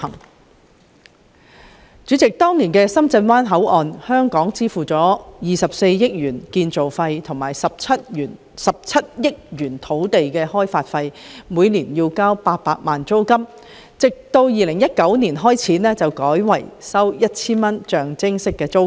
代理主席，就當年的深圳灣口岸工程，香港支付了24億元建造費和17億元土地開發費，並每年繳交800萬元租金，直至2019年改為每年支付 1,000 元的象徵式租金。